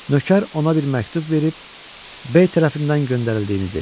Nökər ona bir məktub verib B tərəfindən göndərildiyini dedi.